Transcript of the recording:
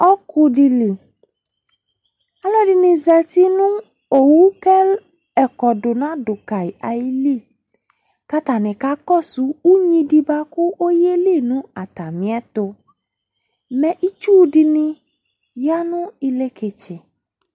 Ɔku dɩ li Alʋɛdɩnɩ zati nʋ owu kʋ ɛkɔdʋ nadʋ ka yɩ ayili kʋ atanɩ kakɔsʋ unyi dɩ bʋa kʋ ɔyeli nʋ atamɩɛtʋ Mɛ itsu dɩnɩ ya nʋ ileketse